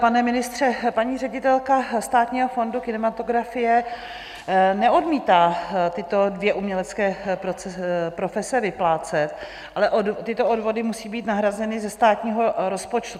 Pane ministře, paní ředitelka Státního fondu kinematografie neodmítá tyto dvě umělecké profese vyplácet, ale tyto odvody musí být nahrazeny ze státního rozpočtu.